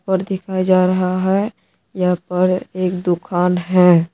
और दिखाया जा रहा है यहां पर एक दुकान है।